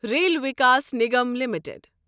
rail Vikas Nigam limited